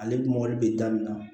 Ale mɔli bɛ daminɛ